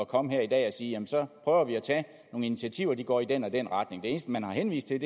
komme her i dag og sige jamen så prøver vi at tage nogle initiativer og de går i den og den retning det eneste man har henvist til